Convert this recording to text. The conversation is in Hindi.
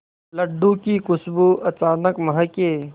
लड्डू की खुशबू अचानक महके